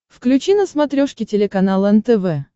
включи на смотрешке телеканал нтв